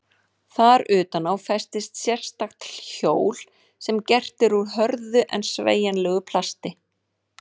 Þar utan á festist sérstakt hjól sem gert er úr hörðu en sveigjanlegu plasti.